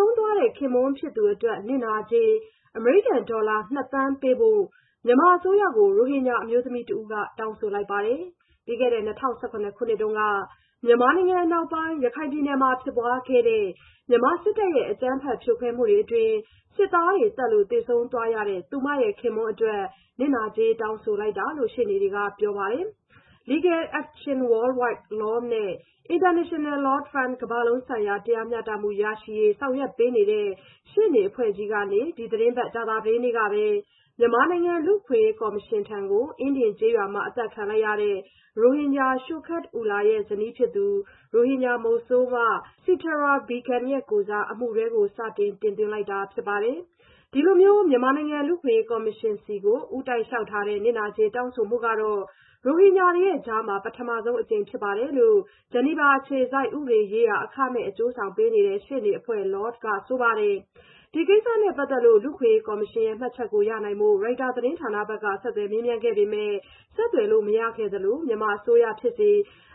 ုံးသွားတဲ့ ခင်ပွန်းဖြစ်သူအတွက် နစ်နာကြေး ‘အမေရိကန်ဒေါ်လာ ၂ သန်း’ ပေးဖို့ မြန်မာအစိုးရကို ရိုဟင်ဂျာအမျိုးသမီးတဦးက တောင်းဆိုလိုက်ပါတယ်။ ပြီးခဲ့တဲ့ ၂၀၁၇ ခုနှစ်တုန်းက မြန်မာနိုင်ငံအနောက်ပိုင်း ရခိုင်ပြည်နယ်မှာ ဖြစ်ပွားခဲ့တဲ့ မြန်မာစစ်တပ်ရဲ့ အကြမ်းဖက် ဖြိုခွဲမှုတွေအတွင်း စစ်သားတွေသတ်လို့ သေဆုံးသွားရတဲ့ သူမခင်ပွန်းအတွက် နစ်နာကြေး တောင်းဆိုလိုက်တာလို့ ရှေ့နေတွေက ပြောပါတယ်။ Legal Action Worldwide (LAW) and International law firm ကမ္ဘာလုံးဆိုင်ရာ တရားမျှတမှုရရှိရေး ဆောင်ရွက်ပေးနေတဲ့ ရှေ့နေအဖွဲ့ကြီးကနေ ဒီသီတင်းပတ် ကြာသပတေးနေ့ကပဲ မြန်မာနိုင်ငံ လူ့အခွင့်အရေးကော်မရှင်ထံကို အင်းဒင်ကျေးရွာမှာ အသတ်ခံလိုက်ရတဲ့ ရိုဟင်ဂျာ Shoket Ullah ရဲ့ ဇနီးဖြစ်သူ ရိုဟင်ဂျာမုဆိုးမ Setara Begum ရဲ့ကိုယ်စား အမှုတွဲ စတင်သွင်းလိုက်တာ ဖြစ်ပါတယ်။ ဒီလိုမျိုး မြန်မာနိုင်ငံ လူ့အခွင့်အရေးကော်မရှင်ဆီကို ဦးတိုက်လျှောက်ထားတဲ့ နစ်နာကြေး တောင်းဆိုမှုကတော့ ရိုဟင်ဂျာတွေကြားမှာ ပထမဆုံးအကြိမ်ဖြစ်တယ်လို့ ဂျီနီဗာအခြေစိုက် ဥပဒေရေးရာ အခမဲ့ အကျိုးဆောင်ပေးနေတဲ့ ရှေ့နေအဖွဲ့ Law က ဆိုပါတယ်။ ဒီကိစ္စနဲ့ပတ်သက်လို့ လူ့အခွင့်အရေးကော်မရှင်ရဲ့ မှတ်ချက်ရနိုင်ဖို့ Reuters သတင်းဌာနက ဆက်သွယ်မေးမြန်းခဲ့ပေမယ့် ဆက်သွယ်လို့မရခဲ့သလို မြန်မာအစိုးရဖြစ်စေ